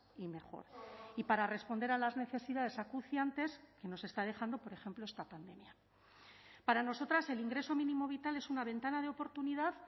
y mejor y para responder a las necesidades acuciantes que nos está dejando por ejemplo esta pandemia para nosotras el ingreso mínimo vital es una ventana de oportunidad